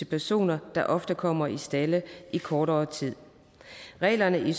personer der ofte kommer i stalde i kortere tid reglerne